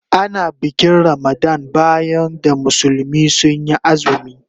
Ana bikin Ramadan bayan da musulmi sun yi azumi.